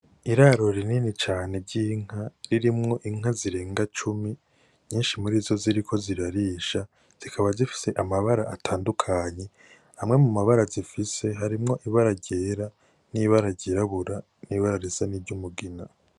Iraro rinini cane ry'inka ririmwo inka zirenga cumi, nyinshi muri zo ziriko zirarisha, zikaba zifise amabara atandukanye. Amwe mu mabara zifise, harimwo ibara ryera n'ibara ryirabura n'ibara risa n'iry'umugina.